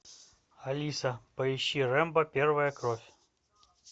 алиса поищи рэмбо первая кровь